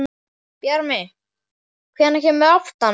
Bjarmi, hvenær kemur áttan?